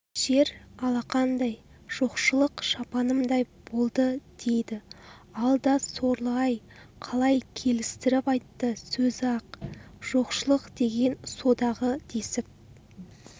жер алақанымдай жоқшылық шапанымдай болды дейді алда сорлы-ай қалай келістіріп айтты сөзі-ақ жоқшылық деген содағы десіп